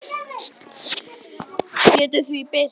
Gerum því bylt við.